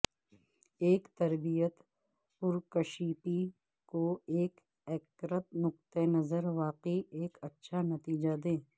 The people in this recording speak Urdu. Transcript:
اس تربیت پرکشیپی کو ایک ایکیکرت نقطہ نظر واقعی ایک اچھا نتیجہ دے